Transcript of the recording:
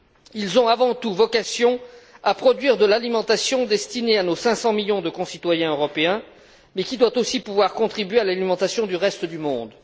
Ils ont avant tout vocation à produire de l'alimentation destinée à nos 500 millions de concitoyens européens, mais qui doit aussi pouvoir contribuer à l'alimentation du reste du monde.